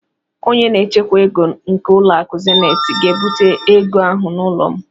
Onye na-echekwa ego nke ụlọakụ Zeniiti ga-ebute ego ahụ n'ụlọ m.